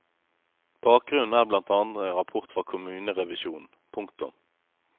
Bakgrunnen er blant annet en rapport fra kommunerevisjonen. punktum